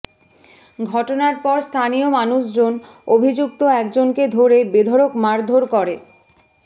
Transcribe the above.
ঘটনার পর স্থানীয় মানুষজন অভিযুক্ত একজনকে ধরে বেধড়ক মারাধর করে